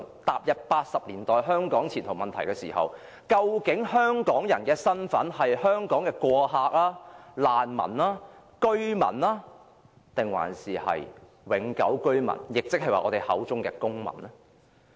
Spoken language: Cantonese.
踏入1980年代，由於香港的前途問題，大家討論到究竟香港人的身份是香港的過客、難民、居民還是永久居民，亦即是我們口中的公民？